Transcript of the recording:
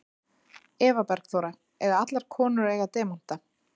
Eva Bergþóra: Eiga allar konur að eiga demanta?